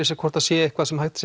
sér hvort það sé eitthvað sem hægt